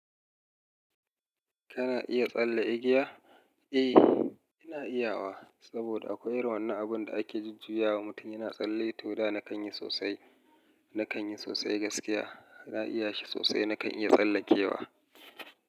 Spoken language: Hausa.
Kana iya tsalle igiya? Eh, ina iya wa. Saboda akwai irin wannan abun da ake jujjuya wa mutum yana tsalle. To, da na kan yi sosai, na kan yi sosai gaskiya. Na iya shi sosai, na kan iya tsallakewa.